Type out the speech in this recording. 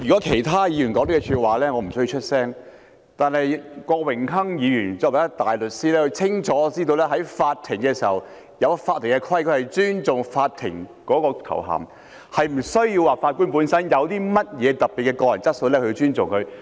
主席，如果是其他議員說這句話，我不需要出聲，但郭榮鏗議員身為一位大律師，他清楚知道在法庭上有法庭的規矩，必須尊重法官的頭銜，並非視乎法官本身有何特別的個人質素才可獲得尊重。